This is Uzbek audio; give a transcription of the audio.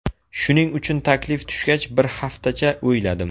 Shuning uchun taklif tushgach bir hafatacha o‘yladim.